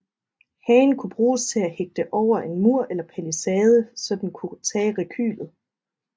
Hagen kunne bruges til at hægte over en mur eller palisade så den kunne tage rekylet